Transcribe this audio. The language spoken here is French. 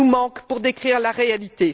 mots nous manquent pour décrire la réalité.